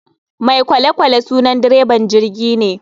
Mai kolekwale sunan dreban jirgine.